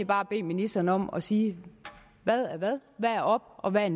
bare bede ministeren om at sige hvad er hvad hvad er op og hvad